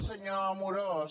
senyor amorós